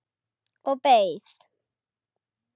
Og beið.